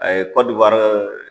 A ye Kɔdiwari